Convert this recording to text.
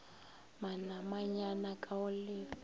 manamanyana k a go lefa